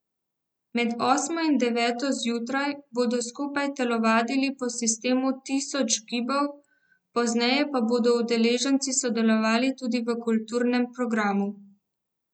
Med osmo in deveto zjutraj bodo skupaj telovadili po sistemu tisoč gibov, pozneje pa bodo udeleženci sodelovali tudi v kulturnem programu.